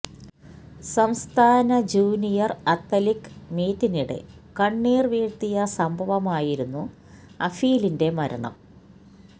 സംസ്ഥാന junior athletic മീറ്റിനിടെ കണ്ണീര് വീഴ്ത്തിയ സംഭവമായിരുന്നു അഫീലിന്റെ മരണം